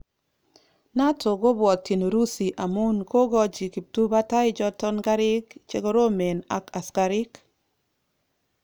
Nato kobwotyin Urusi amun kogochi kiptubatai choton karik chekoromen ak asikarik.